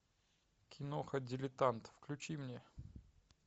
киноха дилетант включи мне